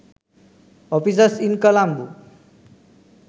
offices in colombo